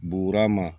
Buurama